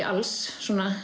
alls